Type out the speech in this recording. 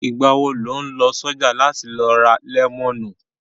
Ìgbà wo lò ń lọ ṣọ̀já láti lọ ra lẹ́mọ̀nù?